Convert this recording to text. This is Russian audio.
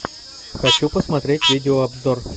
хочу посмотреть видео обзор